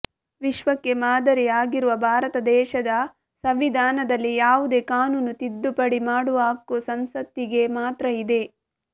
ವಿಶ್ವಕ್ಕೆ ಮಾದರಿ ಆಗಿರುವ ಭಾರತ ದೇಶದ ಸಂವಿಧಾನದಲ್ಲಿ ಯಾವುದೇ ಕಾನೂನು ತಿದ್ದುಪಡಿ ಮಾಡುವ ಹಕ್ಕು ಸಂಸತ್ತಿಗೆ ಮಾತ್ರ ಇದೆ